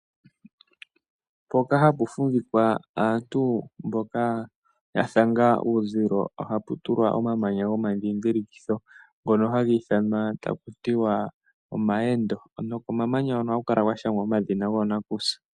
Mpoka hapu fumvikwa aantu mboka ya thanga uuzilo, ohapu tulwa omamanya gomandhidhilikitho, ngono hagi ithanwa taku tiwa omawendo, nokomamanya hoka ohaku kala kwashangwa omadhina goonakusa.